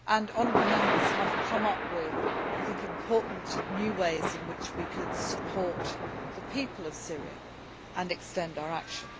Honourable Members have come up with important new ways in which we could support the people of Syria and extend our action.